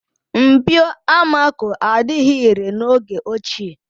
Mpio amako adịghị irè n'oge ochie.